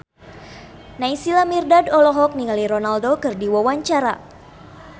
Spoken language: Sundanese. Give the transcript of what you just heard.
Naysila Mirdad olohok ningali Ronaldo keur diwawancara